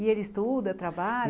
E ele estuda, trabalha?